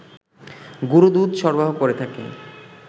গুড়ো দুধ সরবরাহ করে থাকে